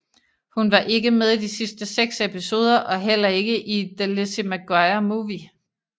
Hun var ikke med i de sidste seks episoder og heller ikke i The Lizzie McGuire Movie